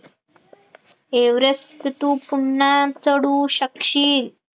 Everest तू पुन्हा चढू शकशील